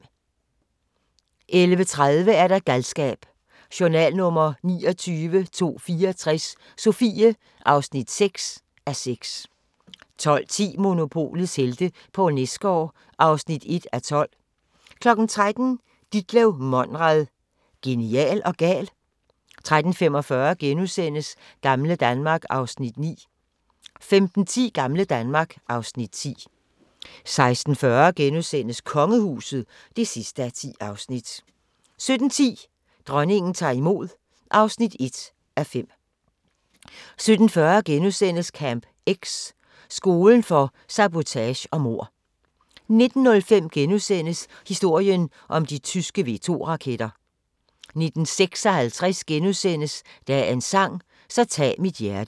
11:30: Galskab: Journal nr. 29.264 – Sofie (6:6) 12:10: Monopolets helte - Poul Nesgaard (1:12) 13:00: Ditlev Monrad – genial og gal? 13:45: Gamle Danmark (Afs. 9)* 15:10: Gamle Danmark (Afs. 10) 16:40: Kongehuset (10:10)* 17:10: Dronningen tager imod (1:5) 17:40: Camp X – skolen for sabotage og mord * 19:05: Historien om de tyske V2-raketter * 19:56: Dagens sang: Så tag mit hjerte *